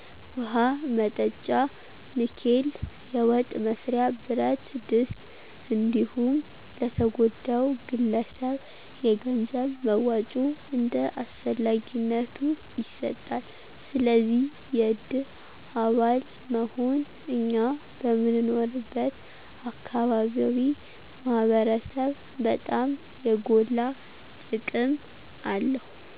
ውሀ መጠጫ ንኬል፣ የወጥ መስሪያ ብረትድስት እንዲሁም ለተጎዳው ግለሰብ የገንዘብ መዋጮ እንደ አስፈላጊነቱ ይሰጣል። ስለዚ የድር አባል መሆን እኛ በምንኖርበት አካባቢ ማህበረሰብ በጣም የጎላ ጥቅም አለው።